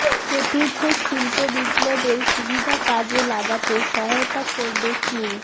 চতুর্থ শিল্প বিপ্লবের সুবিধা কাজে লাগাতে সহায়তা করবে চীন